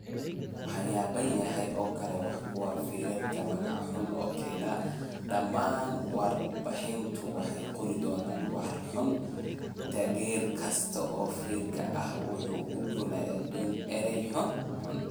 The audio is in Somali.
Waxyaabahan oo kale waa kuwa feerka magac xun u keena. Dhammaan warbaahintu waxay qori doonaan war xun. Taageere kasta oo feerka ahi waxa uu odhan doonaa eray xun.